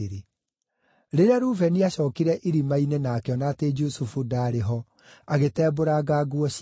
Rĩrĩa Rubeni aacookire irima-inĩ na akĩona atĩ Jusufu ndaarĩ ho, agĩtembũranga nguo ciake.